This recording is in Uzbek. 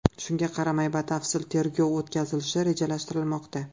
Shunga qaramay batafsil tergov o‘tkazilishi rejalashtirilmoqda.